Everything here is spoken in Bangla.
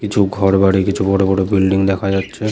কিছু ঘরবাড়ি কিছু বড়বড় বিল্ডিং দেখা যাচ্ছে।